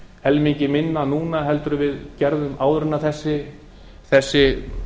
helmingi minna núna en við gerðum áður en þessi